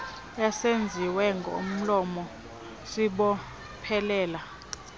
esenziwe ngomlomo sibophelela